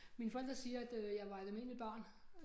Mine forældre siger at øh jeg var et almindeligt barn